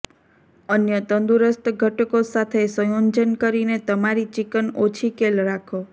અન્ય તંદુરસ્ત ઘટકો સાથે સંયોજન કરીને તમારી ચિકન ઓછી કેલ રાખો